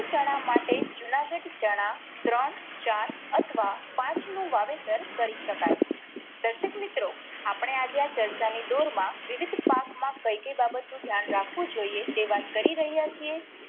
ચણા માટે જૂનાગઢ ચણા ત્રણ ચાર અથવા પાંચ નું વાવેતર કરી શકાય. દર્શક મિત્રો આપણે આજે ચર્ચા ની દોર માં વિવિધ પાક માં કઈ કઈ બાબત નું ધ્યાન રાખવું જોઈએ તે વાત કરી રહ્યા છીએ